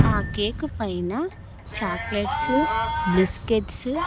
ఆ కేక్ పైన chocolates biscuits .